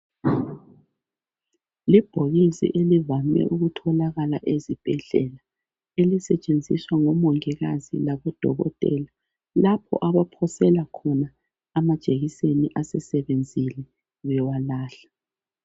Libhokisi elivame ukutholakala ezibhedlela. Elisetshenziswa labomungikazi, labodokotela lapho abaphosela khona amajekiseni asesebenzile bewalahla.